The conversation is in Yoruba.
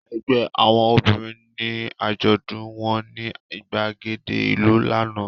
Ẹgbẹ́ àwọn obìnrin ni àjọ̀dún wọn ní ìgbàgede ìlú lánàá.